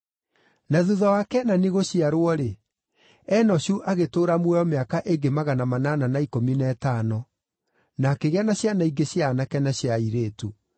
Na thuutha wa Kenani gũciarwo-rĩ, Enoshu agĩtũũra muoyo mĩaka ĩngĩ magana manana na ikũmi na ĩtano, na akĩgĩa na ciana ingĩ cia aanake na cia airĩtu.